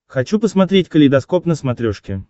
хочу посмотреть калейдоскоп на смотрешке